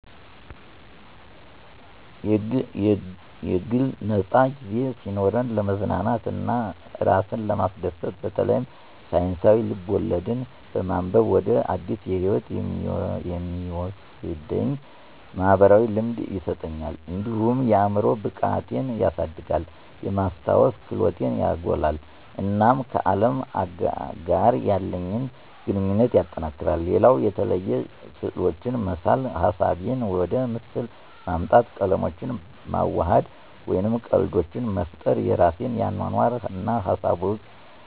የግል ነፃ ጊዜ ሲኖረኝ፣ ለመዝናናት እና እራሴን ለማስደሰት በተለይም ሳይንሳዊ ልብ-ወለድ በማንበብ ወደ አዲስ ህይወት የሚወስደኝ "ማኅበራዊ ልምድ" ይሰጠኛል። እንዲሁም የአዕምሮ ብቃቴን ያሳድጋል፣ የማስተዋል ክህሎቴን ያጎላል፣ እና ከአለም ጋር ያለኝ ግንኙነት ያጠናክራል። ሌላው የተለያዩ ስዕሎችን መሳል ሀሳቦቼን ወደ ምስል ማምጣት፣ ቀለሞችን ማዋሃድ፣ ወይም ቀልዶችን መፍጠር የራሴን አኗኗር እና ሀሳቦች